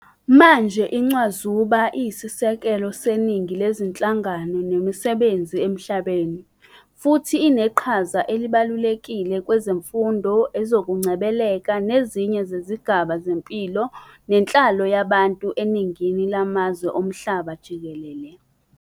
Manje, incwazuba isiyisisekelo seningi lezinhlangano nemisebenzi emhlabeni, futhi uneqhaza elibalulekile kwezezifundo, ezokungcwebeleka, nezinye zezigaba zempilo nenhlalo yabantu eningini lamazwe omhlaba jikelele.